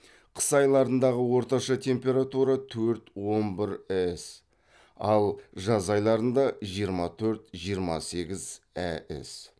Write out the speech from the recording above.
қыс айларындағы орташа температура төрт он бір әс ал жаз айларында жиырма төрт жиырма сегіз әс